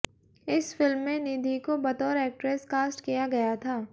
इस फिल्म में निधि को बतौर एक्ट्रेस कास्ट किया गया था